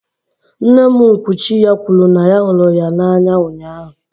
Nne nkwuchi ya kwuru na ya hụrụ ya n'anya ụnyahụ